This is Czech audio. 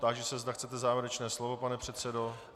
Táži se, zda chcete závěrečné slovo, pane předsedo.